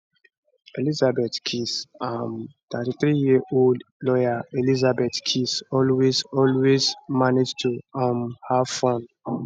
elizabeth keys um 33yearold lawyer elizabeth keys always always manage to um have fun